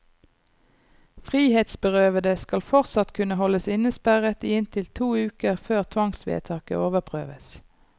Frihetsberøvede skal fortsatt kunne holdes innesperret i inntil to uker før tvangsvedtaket overprøves.